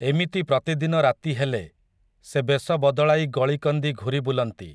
ଏମିତି ପ୍ରତିଦିନ ରାତି ହେଲେ, ସେ ବେଶ ବଦଳାଇ ଗଳିକନ୍ଦି ଘୂରି ବୁଲନ୍ତି ।